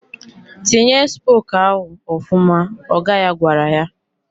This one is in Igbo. "Tinye spok ahụ ọfụma!" ọga ya gwara ya.